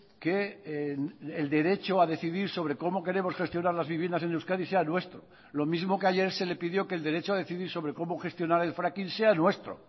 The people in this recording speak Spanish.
que el derecho a decidir sobre cómo queremos gestionar las viviendas en euskadi sea nuestro lo mismo que ayer se le pidió que el derecho a decidir sobre cómo gestionar el fracking sea nuestro